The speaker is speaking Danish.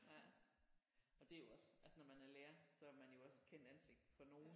Ja og det er jo også altså når man er lærer så er man jo også et kendt ansigt for nogen